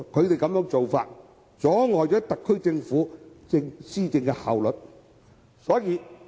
他們的做法，阻礙了特區政府施政的效率。